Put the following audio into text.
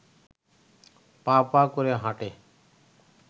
পা পা করে হাঁটে